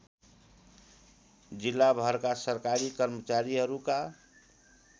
जिल्लाभरका सरकारी कर्मचारीहरूका